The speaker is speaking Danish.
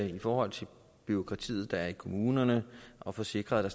i forhold til bureaukratiet der er i kommunerne og får sikret